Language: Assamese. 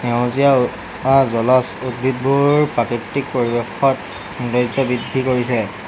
সেউজীয়া জলজ উদ্ভিদবোৰ প্ৰাকৃতিক পৰিৱেশত সৌন্দৰ্য্য বৃদ্ধি কৰিছে।